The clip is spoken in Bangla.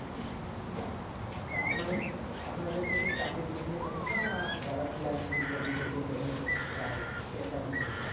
আচ্ছা আপনার কাছে আপনার কাছে কি চাকরি যিনি ছেলে পসন্দ না যারা freelancing করে নিজে কে develop করেত চেয়ে সেই তেমন ছেলে পসন্দ